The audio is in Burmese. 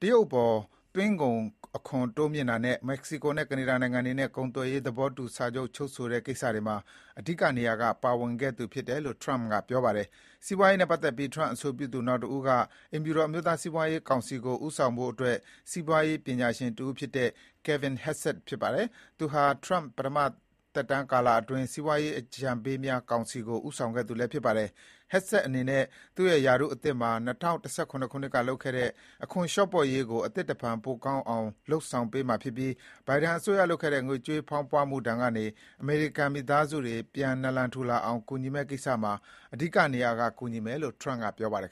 တရုတ်အပေါ် သွင်းကုန်ခွန်တိုးမြှင့်တာနဲ့ မက္ကဆီကိုနဲ့ ကနေဒါနိုင်ငံတွေနဲ့ ကုန်သွယ်ရေးသဘောတူစာချုပ် ချုပ်ဆိုတဲ့ကိစ္စတွေမှာ အဓိကနေရာက ပါဝင်ခဲ့သူဖြစ်တယ်လို့ ထရမ့်က ပြောပါတယ်။ စီးပွားရေးနဲ့ပတ်သက်ပြီး ထရမ့်အဆိုပြုသူနောက်တဦးက အိမ်ဖြူတော် အမျိုးသားစီးပွားရေး ကောင်စီကိုဦးဆောင်ဖို့အတွက် စီးပွားရေးပညာရှင် Kevin Hassett ဖြစ်ပါတယ်။ သူဟာ ထရမ့် ပထမသက်တမ်းကာလအတွင်း စီးပွားရေးအကြံပေးများကောင်စီကို ဦးဆောင်ခဲ့သူလည်း ဖြစ်ပါတယ်။ Hassett အနေနဲ့ သူ့ရဲ့ ရာထူးအသစ်မှာ ၂၀၁၇ ခုနှစ်ကလုပ်ခဲ့တဲ့ အခွန်လျော့ပေါ့ရေးကို အသစ်တဖန် ပိုကောင်းအောင် လုပ်ဆောင်ပေးမှာ ဖြစ်ပြီး ဘိုင်ဒန်အစိုးရလုပ်ခဲ့တဲ့ ငွေကြေးဖောင်းဖွမှု ဒဏ်ကနေ အမေရိကန်မိသားစုတွေ ပြန်နလန်ထူလာအောင် ကူညီမယ့်ကိစ္စမှာ အဓိကနေရာက ကူညီမယ်လို့ ထရမ့်က ပြောပါတယ်